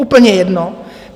Úplně jedno.